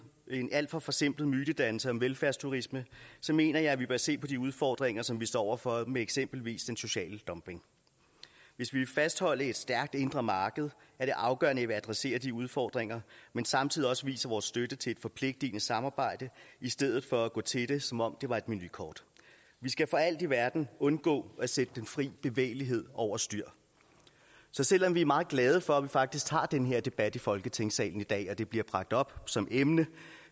en alt for forsimplet mytedannelse om velfærdsturisme mener jeg at vi bør se på de udfordringer som vi står over for med eksempelvis den sociale dumping hvis vi vil fastholde et stærkt indre marked er det afgørende at vi adresserer de udfordringer men samtidig også viser vores støtte til et forpligtende samarbejde i stedet for at gå til det som om det var et menukort vi skal for alt i verden undgå at sætte den fri bevægelighed over styr så selv om vi er meget glade for at vi faktisk tager den her debat i folketingssalen i dag og at det bliver bragt op som emne